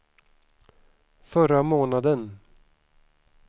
förra månaden